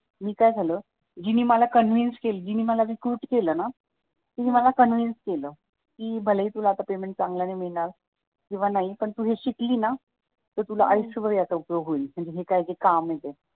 मी काय झाल जीनी मला कन्व्हेन्स जीनी मला रिक्रूट केलं ना तिने मला कन्व्हेन्स केलं कि भलेही आता तुला पेमेंट चांगलं नाही मिळणार किंवा नाही पण तू जर शिकली ना तर तुला आयुष्यभर उपयोग होईल म्हणजे हे जे काही काम आहे ते